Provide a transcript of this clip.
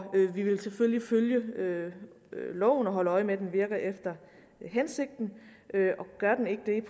vi vil selvfølgelig følge loven og holde øje med at den virker efter hensigten gør den ikke det